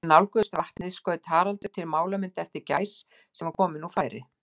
Þegar þeir nálguðust vatnið, skaut Haraldur til málamynda eftir gæs, sem var komin úr færi.